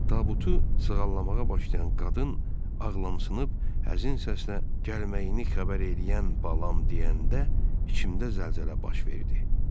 Tabutu sığallamağa başlayan qadın ağlamçınıb həzin səslə gəlməyini xəbər eləyən balam deyəndə içimdə zəlzələ baş verdi.